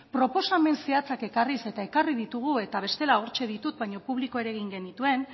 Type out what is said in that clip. proposamen zehatzak ekarriz eta ekarri ditugu eta bestela hortxe ditut baino publikoak ere egin genituen